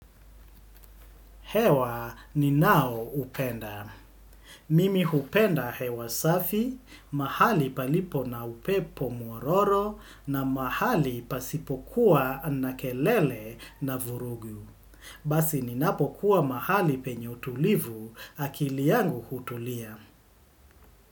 Hewa ninao upenda. Mimi upenda hewa safi, mahali palipo na upepo muororo na mahali pasipokuwa na kelele na vurugyu. Basi ninapokuwa mahali penye utulivu akili yangu utulia.